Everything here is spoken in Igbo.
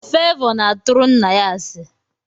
Favor na aturu nna ya asi.